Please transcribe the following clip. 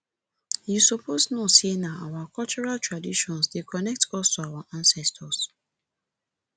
you suppose know sey na our cultural traditions dey connect us to our ancestors